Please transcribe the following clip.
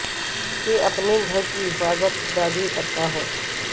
کہ اپنے گھر کی حفاظت خدا بھی کرتا ہے